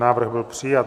Návrh byl přijat.